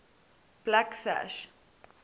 blacksash